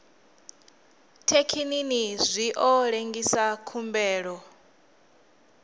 thekinini zwi ḓo lengisa khumbelo